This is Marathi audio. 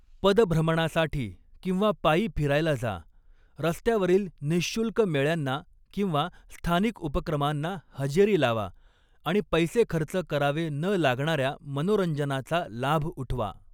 पदभ्रमणासाठी किंवा पायी फिरायला जा, रस्त्यावरील निःशुल्क मेळ्यांना किंवा स्थानिक उपक्रमांना हजेरी लावा आणि पैसे खर्च करावे न लागणाऱ्या मनोरंजनाचा लाभ उठवा.